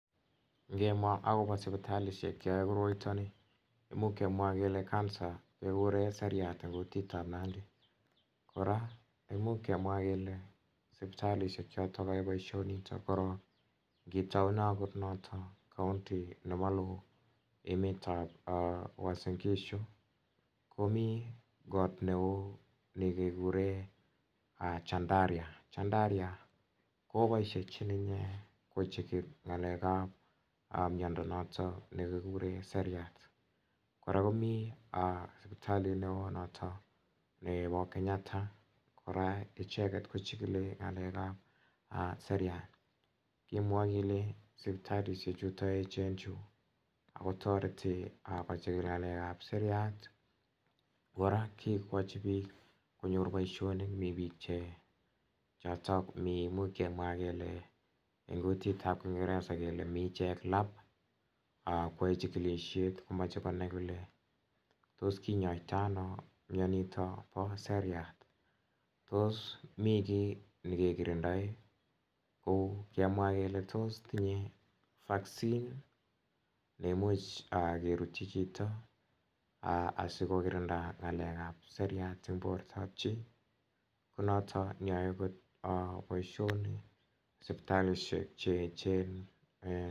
Ng'emwa akopo sipitalishek cheoe koroito ni muchkemwa kele Cancer kekuren seriat eng kutit ap nandi kora imuch kemwa kele sipitalishek chotok cheyoei boishonito korok ngitoune notok county nepo emet ap uasingishu komi koot neo nekekure chandaria ,chandaria kopoishechi ine kochikil ng'alek ap miondo noto nekikure seriat kora komi sipitalit neo noto nepo Kenyatta kora icheket kochikilingalek ap seriat kemwoe kele sipitalishek chuto echen chu kotoreti kochikil ng'alek ap seriat kora kekochi piik konyor boishonik mi piik chotok much kemwa kele eng kutit ap kingereza kele miichek lab koyoe chikilishet komache konai kole tos kinyoitoi ano mnyonito po seriat tos mikiy nekekirindoe kou kemwa kele tos tinyei vaccine nemuche kerutchi chito asikokirinda ng'alek ap seriat eng bortap chii konotok neoe akot poishonik sipitalishek cheechen